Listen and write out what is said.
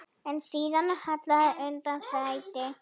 En síðan hallaði undan fæti.